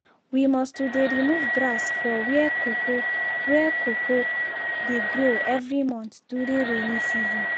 you must to dey remove grass for where cocoa where cocoa dey grow every month during rainy season.